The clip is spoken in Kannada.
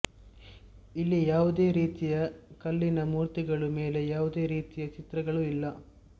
ಇಲ್ಲಿ ಯಾವುದೇ ರೀತಿಯ ಕಲ್ಲಿನ ಮೂರ್ತಿಗಳೂ ಮೇಲೆ ಯಾವುದೇ ರೀತಿಯ ಚಿತ್ರಗಳು ಇಲ್ಲ